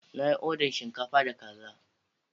Na yi oda shinkafa da kaza